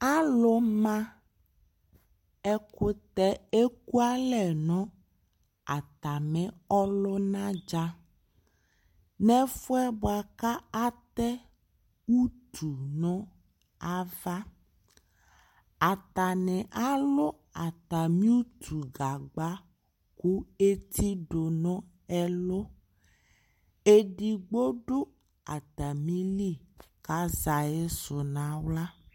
Alumaɛkʋtɛ ekʋalɛ nʋ atami ɔlʋna dza, nʋ ɛfʋ yɛ bʋakʋ atɛ utu nʋ ava Atani alu atami utugagba, kʋetidu nʋ ɛlʋ Edigbo du atamili kʋ azɛ ayisi nʋ aɣla